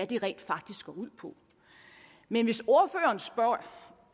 det rent faktisk går ud på men hvis ordføreren spørger